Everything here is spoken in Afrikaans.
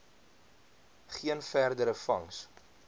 geen verdere vangs